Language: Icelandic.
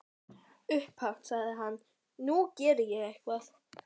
Upphátt sagði hann:- Nú geri ég eitthvað.